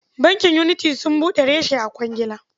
Bankin Unity sun buɗe reshe a Kwagila.